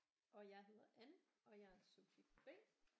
Og jeg hedder Ann og jeg er subjekt B